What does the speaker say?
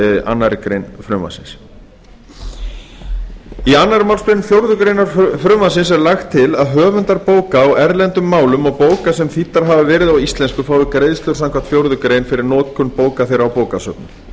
annarri grein frumvarpsins í annarri málsgrein fjórðu grein frumvarpsins er lagt til að höfundar bóka á erlendum málum og bóka sem þýddar hafa verið á íslensku fái greiðslur samkvæmt fjórðu grein fyrir notkun bóka þeirra á bókasöfnum